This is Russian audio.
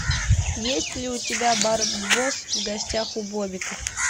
есть ли у тебя барбос в гостях у бобика